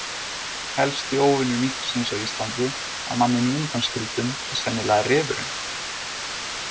Helsti óvinur minksins á Íslandi, að manninum undanskildum, er sennilega refurinn.